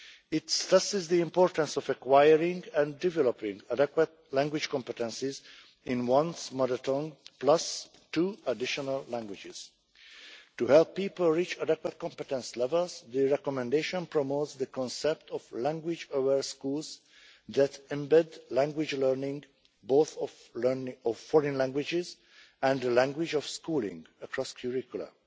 It stresses the importance of acquiring and developing adequate language competences in one's mother tongue plus two additional languages. To help people reach adequate competence levels, the recommendation promotes the concept of language aware schools that embed language learning the learning of both of foreign languages and the language of schooling across curricula.